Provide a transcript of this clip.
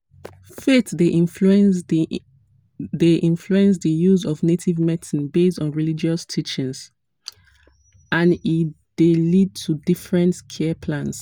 faith dey influence dey influence di use of native medicine based on religious teachings and e dey lead to different care plans.